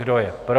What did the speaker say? Kdo je pro?